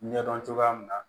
Ɲɛdɔn cogoya min na